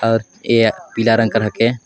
और ए पीला रंग ह के--